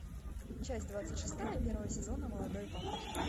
часть двадцать шестая первого сезона молодой папа